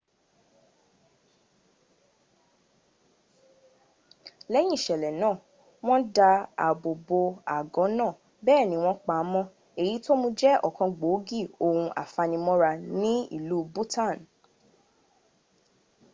lẹ́yìn ìṣẹ̀lẹ̀ iná wọ́n dá ààbò bo àgọ́ náà bẹ́ẹ̀ni wọ́n pa á mọ́ èyí tó mún un jẹ́ ọ̀kan gbòógì ohun afanimọ́ra ní ìlú bhutan